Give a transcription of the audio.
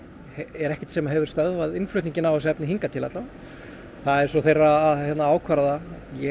er ekkert sem hefur stoppað innflutninginn á þessu efni hingað til alla vega það er svo þeirra að ákvarða